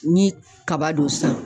Ni kaba don sisan